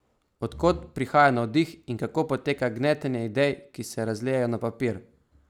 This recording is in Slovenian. Od kod prihaja navdih in kako poteka gnetenje idej, ki se razlijejo na papir?